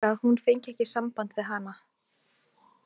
Vissi líka að hún fengi ekki samband við hana.